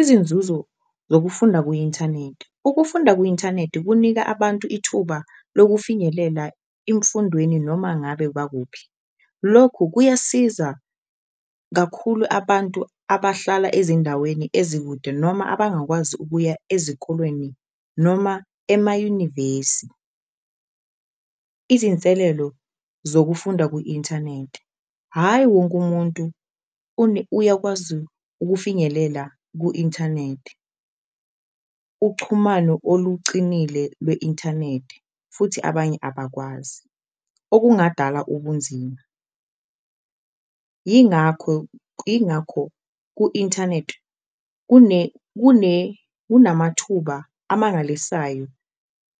Izinzuzo zokufunda ku-nthaneti, ukufunda kwi-inthaneti kunika abantu ithuba lokufinyelela imfundweni noma ngabe bakuphi, lokhu kuyasiza kakhulu abantu abahlala ezindaweni ezikude noma abangakwazi ukuya ezikolweni, noma emayunivesi. Izinselelo zokufunda ku-inthaneti, hhayi wonke umuntu uyakwazi ukufinyelela ku-ithaneti, uchumano olucinile lwe-inthaneti futhi abanye abakwazi okungadala ubunzima. Ingakho ku-inthaneti kunamathuba amangalisayo.